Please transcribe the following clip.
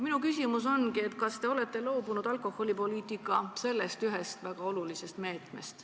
Minu küsimus ongi: kas te olete loobunud sellest väga olulisest alkoholipoliitika põhimõttest?